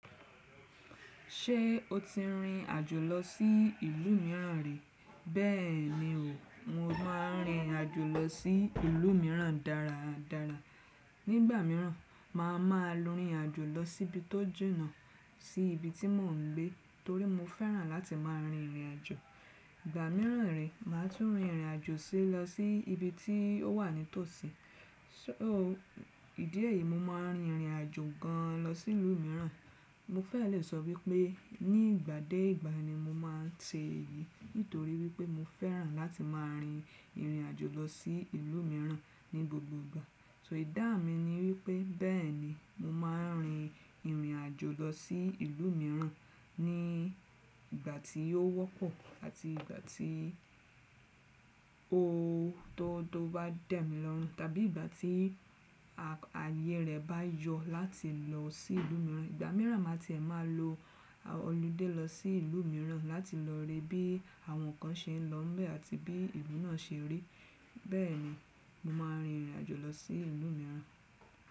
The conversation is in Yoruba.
Ṣé o ti rìnrìn àjò lọ sí ìlú mìíràn rí? Bẹ́ẹ̀ni o, mo máa ń rìnrìn àjò lọ sí ìlú mìíràn dára dára. Nígbà mìíràn, màá ma lọ rìnrìn àjò lọ síbi tó jìnà sí ibi tí mò ń gbé torí mo fẹ́ràn láti máa rin ìrìn àjò. Ìgbà mìíràn rẹ, màá tún rìnrìn àjò lọ sí ibi tí ó wà nítòsí. So ìdí èyí, mo máa ń rìnrìn àjò gan lọ sí ìlú mìíràn. Mo fẹ́ lè sọ wípé ní ìgbà dé ìgbà ni mo máa ń ṣe èyí nítorí wípé mo fẹ́ràn láti máa rin ìrìn àjò lọ sí ìlú mìíràn ní gbogbo ìgbà. So idá mi ni wípé bẹ́ẹ̀ni mo máa ń rìn irìn àjò lọ sí ìlú mìíràn ní ìgbà tí ó wọ́pọ̀ àti ìgbà tí o tó bá dẹ̀mí lọ́run tàbí ìgbà tí ààyè rẹ̀ bá yọ láti lọ sí ìlú mìíràn. Ìgbà mìíràn màá ti è máa lo oludé lọ sí ìlú mìíràn láti lọ rí bí àwọn nǹkan ṣe ń lọ mbẹ̀ àti bí ìlú náà ṣe rí. Bẹ́ẹ̀ni, mo máa ń rìnrìn àjò lọ sí ìlú mìíràn.